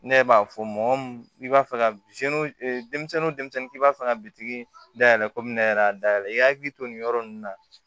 Ne b'a fɔ mɔgɔ mun i b'a fɛ ka denmisɛnnin k'i b'a fɛ ka biriki dayɛlɛ komi ne yɛrɛ dayɛlɛn i hakili to nin yɔrɔ nunnu na